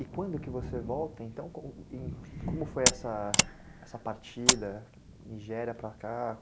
E quando que você volta, então, como, como foi essa... essa partida, Nigéria para cá?